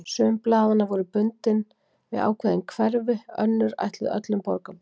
Sum blaðanna voru bundin við ákveðin hverfi, önnur ætluð öllum borgarbúum.